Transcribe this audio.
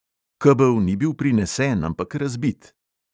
Kebel ni bil prinesen, ampak razbit.